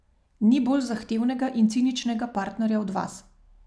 Ni bolj zahtevnega in ciničnega partnerja od vas.